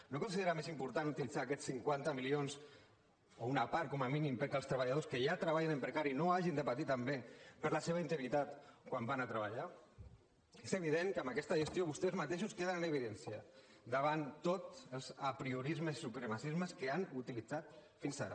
no considera més important utilitzar aquests cinquanta milions o una part com a mínim perquè els treballadors que ja treballen en precari no hagin de partir també per la seva integritat quan van a treballar és evident que amb aquesta gestió vostès mateixos queden en evidència davant tots els apriorismes i supremacismes que han utilitzat fins ara